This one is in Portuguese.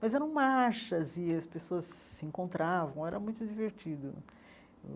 Mas eram marchas e as pessoas se encontravam, era muito divertido.